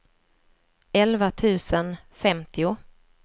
elva tusen femtio